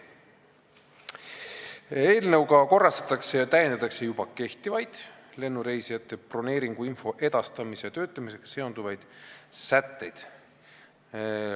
Eelnõuga korrastatakse ja täiendatakse juba kehtivaid lennureisijate broneeringuinfo edastamise ja töötlemisega seonduvaid sätteid.